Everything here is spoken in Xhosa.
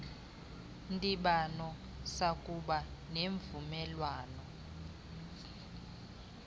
ndibano sakuba nemvumelwano